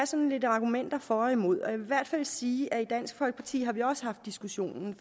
sådan lidt argumenter for og imod og jeg hvert fald sige at i dansk folkeparti har vi også haft diskussionen